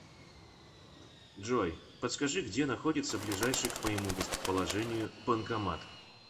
джой подскажи где находится ближайший к моему местоположению банкомат